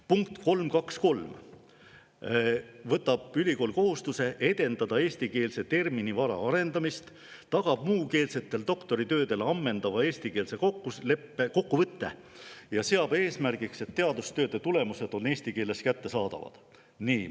Punkt 3.2.3: ülikool võtab kohustuse edendada eestikeelse terminivara arendamist, tagab muukeelsetel doktoritöödel ammendava eestikeelse kokkuvõtte ja seab eesmärgiks, et teadustööde tulemused on eesti keeles kättesaadavad.